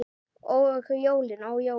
Og jólin, ó jólin!